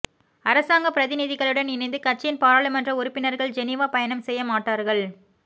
அரசாங்கப் பிரதிநிதிகளுடன் இணைந்து கட்சியின் பாராளுமன்ற உறுப்பினர்கள் ஜெனீவா பயணம் செய்ய மாட்டார்கள்